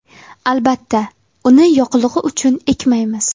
Albatta, uni yoqilg‘i uchun ekmaymiz.